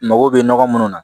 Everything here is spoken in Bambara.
Mago bɛ nɔgɔ munnu na